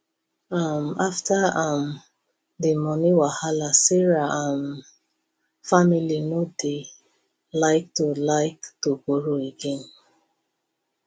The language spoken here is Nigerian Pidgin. um after um the money wahala sarah um family no dey like to like to borrow again